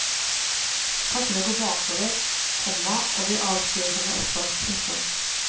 Tankene går bakover, komma og de avsporer henne også. punktum